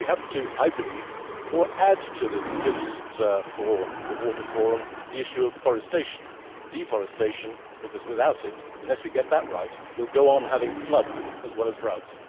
So we have, I believe, to add to this list for the water forum the issue of forestation deforestation, because, unless we get that right, we will go on having floods as well as droughts.